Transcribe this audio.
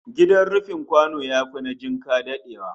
Gidan rufin kwano yafi na jinka dadewa